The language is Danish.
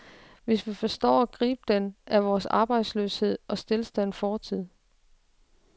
Hvis vi forstår at gribe den, er vores arbejdsløshed og stilstand fortid.